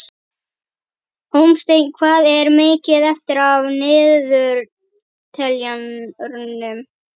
Hólmsteinn, hvað er mikið eftir af niðurteljaranum?